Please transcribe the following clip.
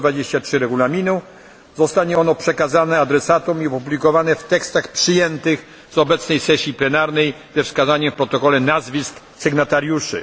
123 Regulaminu zostanie ono przekazane adresatom i opublikowane w tekstach przyjętych na obecnej sesji plenarnej ze wskazaniem w protokole nazwisk sygnatariuszy.